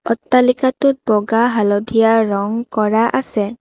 অট্টালিকাটোত বগা হালধীয়া ৰং কৰা আছে।